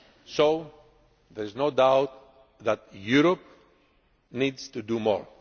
So there is no doubt that Europe needs to do more.